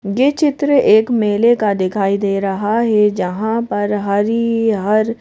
ये चित्र एक मेले का दिखाई दे रहा है जहां पर हरि हर --